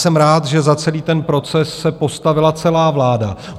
Jsem rád, že za celý ten proces se postavila celá vláda.